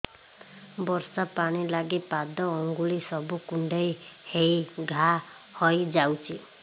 ବର୍ଷା ପାଣି ଲାଗି ପାଦ ଅଙ୍ଗୁଳି ସବୁ କୁଣ୍ଡେଇ ହେଇ ଘା ହୋଇଯାଉଛି